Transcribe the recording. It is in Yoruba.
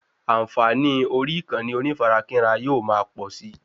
Ànfààní orí ìkànnì onífarakínra yóò ma pọ̀si